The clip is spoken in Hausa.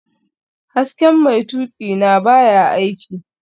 Hasken mai tuƙina baya aiki